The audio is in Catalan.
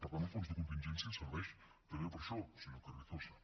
per tant el fons de contingència serveix també per a això senyor carrizosa